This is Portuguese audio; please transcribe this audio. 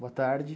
Boa tarde.